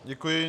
Děkuji.